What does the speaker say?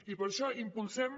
i per això impulsem